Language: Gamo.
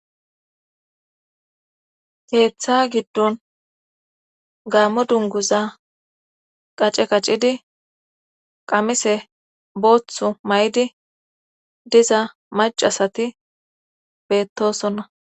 keeththa giddon gaammo dunguza qace qaccidi qamise booththu may7di diza macasati beettosonna